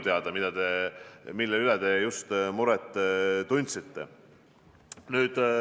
Selle pärast te tundsite just muret.